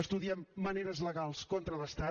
estudiem maneres legals contra l’estat